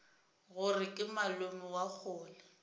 gore ke malome wa kgole